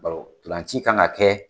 Bawo ntolan ci kan ka kɛ